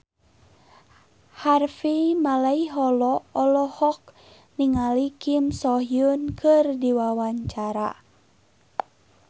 Harvey Malaiholo olohok ningali Kim So Hyun keur diwawancara